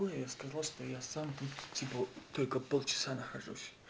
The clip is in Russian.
ну я сказал что я сам тут типо только полчаса нахожусь